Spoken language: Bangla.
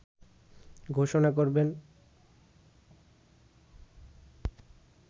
ঘোষণা করবেন